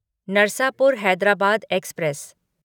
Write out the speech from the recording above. Narsapur Hyderabad express